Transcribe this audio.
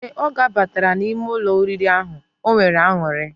Ee, oge obatara na ime Ụlọ oriri ahu, onwere anuri.